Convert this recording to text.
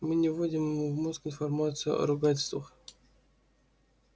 мы не вводим ему в мозг информацию о ругательствах